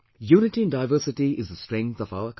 Unity in diversity is the strength of our country